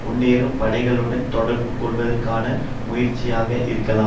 முன்னேறும் படைகளுடன் தொடர்பு கொள்ளுவதற்கான முயற்சியாக இருக்கலாம்